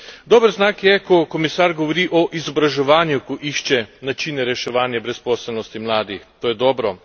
Dober znak je, ko komisar govori o izobraževanju, ko išče načine reševanja brezposelnosti mladih to je dobro.